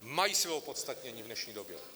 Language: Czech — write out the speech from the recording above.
Mají své opodstatnění v dnešní době!